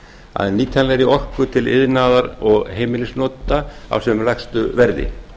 að nýtanlegri orku til iðnaðar og heimilisnota á sem lægstu verði